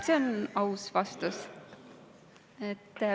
See on aus vastus.